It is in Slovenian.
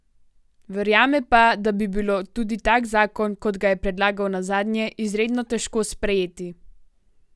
Verjame pa, da bi bilo tudi tak zakon, kot ga je predlagal nazadnje, izredno težko sprejeti.